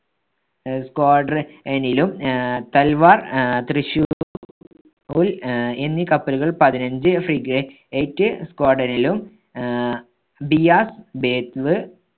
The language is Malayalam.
ആഹ് squadron ~നിലും ആഹ് തൽവാർ ആഹ് ത്രിശൂ~ൽ ആഹ് എന്നീ കപ്പലുകൾ പതിനഞ്ച് frig~ate squadron ലും ആഹ് ബിയാസ്, ബെത്വ്വ്